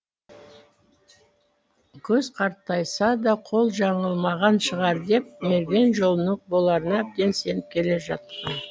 көз қартайса да қол жаңылмаған шығар деп мерген жолының боларына әбден сеніп келе жатқан